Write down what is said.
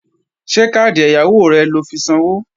Ṣé káàdì ẹ̀yáwó rẹ lọ fi sanwó?